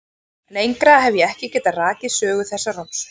Lengra hef ég ekki getað rakið sögu þessarar romsu.